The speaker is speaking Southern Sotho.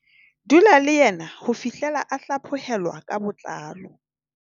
"Dula le yena ho fihlela a hlaphohelwa ka botlalo."